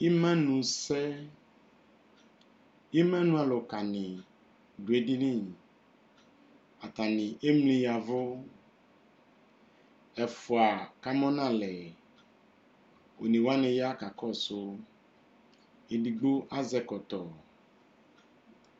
Imanusɛ Imanualʋkanɩ dʋ edini Atanɩ emli ya ɛvʋ Ɛfʋa kamʋ nʋ alɛ One wanɩ ya kakɔsʋ, edigbo azɛ ɛkɔtɔ